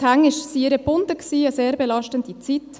Die Hände waren ihr gebunden, eine sehr belastende Zeit.